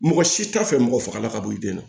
Mɔgɔ si t'a fɛ mɔgɔ faga la ka bɔ i den na